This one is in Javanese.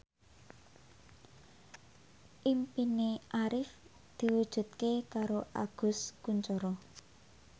impine Arif diwujudke karo Agus Kuncoro